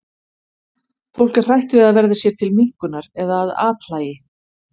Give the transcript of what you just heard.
Fólk er hrætt við að verða sér til minnkunar eða að athlægi.